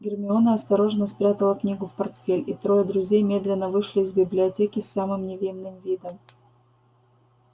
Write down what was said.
гермиона осторожно спрятала книгу в портфель и трое друзей медленно вышли из библиотеки с самым невинным видом